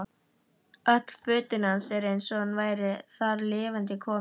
Öll fötin hans eins og hann væri þar lifandi kominn.